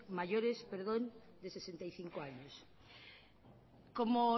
mayores perdón de sesenta y cinco años como